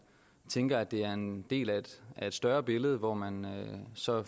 tænker at det er en del af et større billede hvor man så